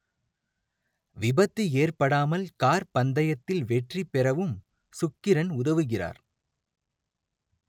விபத்து ஏற்படாமல் கார் பந்தயத்தில் வெற்றி பெறவும் சுக்கிரன் உதவுகிறார்